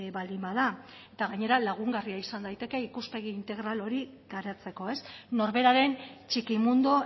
baldin bada eta gainera lagungarria izan daiteke ikuspegi integral hori garatzeko ez norberaren txiki mundu